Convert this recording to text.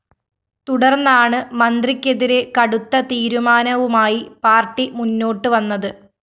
തുടർന്നാണ് മന്ത്രിക്കെതിരെ കടുത്ത തീരുമാനവുമായി പാർട്ടി മുന്നോട്ട് വന്നത്